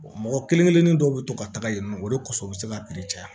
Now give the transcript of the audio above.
mɔgɔ kelen kelenni dɔw be to ka taga yen nɔ o de kɔsɔn u be se ka caya